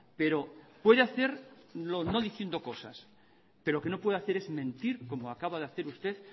pero puede hacerlo no diciendo cosas pero lo que no puede hacer es mentir como acaba de hacer usted